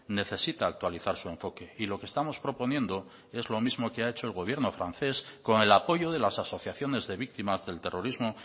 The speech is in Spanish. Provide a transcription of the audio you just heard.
necesita actualizar su enfoque y lo que estamos proponiendo es lo mismo que ha hecho el gobierno francés con el apoyo de las asociaciones de víctimas del terrorismo